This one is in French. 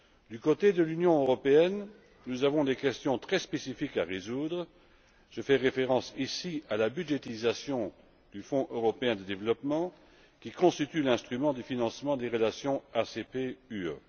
Du côté de l'Union européenne, nous avons des questions très spécifiques à résoudre je fais référence ici à la budgétisation du Fonds européen de développement, qui constitue l'instrument du financement des relations ACP UE.